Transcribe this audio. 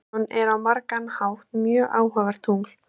Tríton er á margan hátt mjög áhugavert tungl.